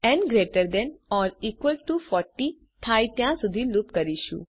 આપણે ન greater than or equal to 40 થાય ત્યાં સુધી લુપ કરીશું